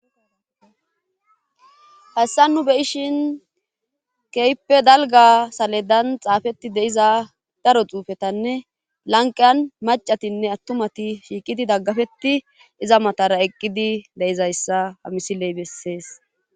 hayssa nu be7ishin kehippe dalga saledan xaafetti deiza daro xuufetanne lanqiyan macatinne attumati shiiqidi daggafetti iza matara eqqidi de7izayssa hamisiley bessees.